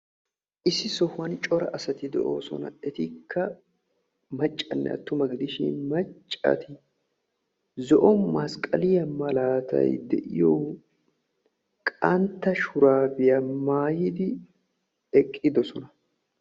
issi sohuwan cora asati de'ossona etakka maccanne attuma gidishin macca asati zo'o masqqaliyaa malatay de'iyoo qantta shuraabiyaa mayyidi eqqiddoosona